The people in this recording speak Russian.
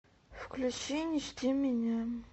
включи не жди меня